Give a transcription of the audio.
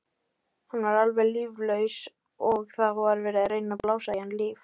Hann var alveg líflaus og það var verið að reyna að blása í hann lífi.